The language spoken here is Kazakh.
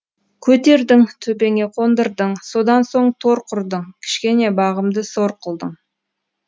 көтердің төбеңе қондырдың содан соң тор құрдың кішкене бағымды сор қылдың